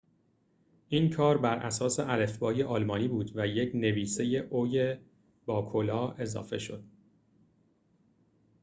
این کار بر اساس الفبای آلمانی بود و یک نویسه «õ/õ» اضافه شد